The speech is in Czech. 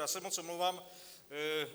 Já se moc omlouvám.